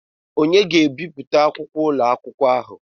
Onye ga-ebipụta akwụkwọ ụlọ akwụkwọ ahụ?